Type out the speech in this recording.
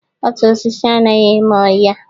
Otu osisi anaghị eme ọhịa.